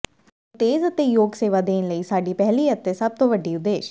ਤੁਹਾਨੂੰ ਤੇਜ਼ ਅਤੇ ਯੋਗ ਸੇਵਾ ਦੇਣ ਲਈ ਸਾਡੀ ਪਹਿਲੀ ਅਤੇ ਸਭ ਤੋਂ ਵੱ ਡੀ ਉਦੇਸ਼